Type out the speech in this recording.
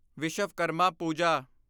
Vishwakarma Pooja